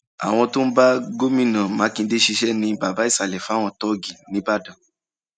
àwọn tó ń bá gómìnà mákindè ṣiṣẹ ní baba ìsàlẹ fáwọn tóògì nìbàdàn